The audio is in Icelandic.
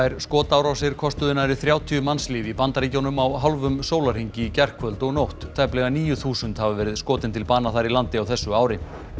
skotárásir kostuðu nærri þrjátíu mannslíf í Bandaríkjunum á hálfum sólarhring í gærkvöld og nótt tæplega níu þúsund hafa verið skotin til bana þar í landi á þessu ári